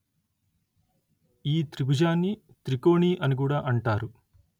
ఈ త్రిభుజాన్ని త్రికోణి అని కూడా అంటారు